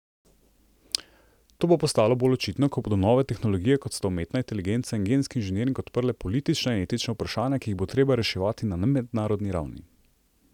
To bo postalo bolj očitno, ko bodo nove tehnologije, kot sta umetna inteligenca in genski inženiring, odprle politična in etična vprašanja, ki jih bo treba reševati na mednarodni ravni.